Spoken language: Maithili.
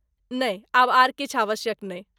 नहि, आब आर किछु आवश्यक नै।